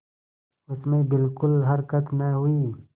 उसमें बिलकुल हरकत न हुई